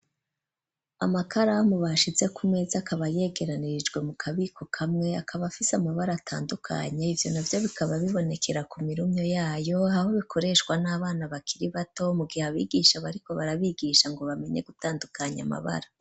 Amakaramu bashize ku meza akaba yegeranirjwe mu kabiko kamwe akaba afise amabara atandukanye ivyo na vyo bikaba bibonekera ku mirumyo yayo aho bikoreshwa n'abana bakiri bato mu gihe abigisha bariko barabigisha ngo bamenye gutandukanya amabara.